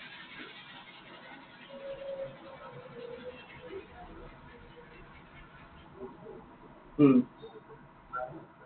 উম